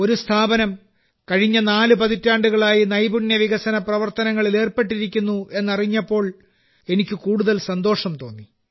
ഒരു സ്ഥാപനം കഴിഞ്ഞ നാല് പതിറ്റാണ്ടുകളായി നൈപുണ്യ വികസന പ്രവർത്തനങ്ങളിൽ ഏർപ്പെട്ടിരിക്കുന്നു എന്നറിഞ്ഞപ്പോൾ എനിക്ക് കൂടുതൽ സന്തോഷം തോന്നി